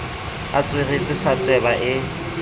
a tsweretse sa tweba e